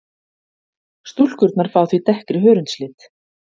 Stúlkurnar fá því dekkri hörundslit.